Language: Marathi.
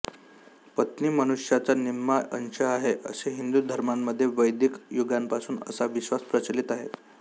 पत्नी मनुष्याचा निम्मा अंश आहे असे हिंदू धर्मामध्ये वैदिक युगापासून असा विश्वास प्रचलित आहे